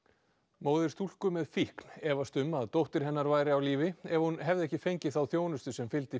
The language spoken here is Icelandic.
móðir stúlku með fíkn efast um að dóttir hennar væri á lífi ef hún hefði ekki fengið þá þjónustu sem fylgdi